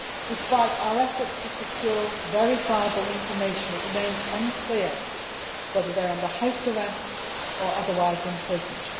Despite our efforts to secure verifiable information, it remains unclear whether they are under house arrest or otherwise imprisoned.